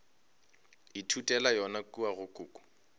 ithutela yona kua go koko